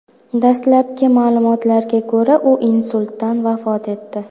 Dastlabki ma’lumotlarga ko‘ra, u insultdan vafot etdi.